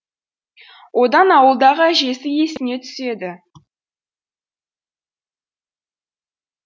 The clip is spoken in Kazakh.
одан ауылдағы әжесі есіне түседі